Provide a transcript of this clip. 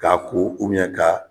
K'a ko ka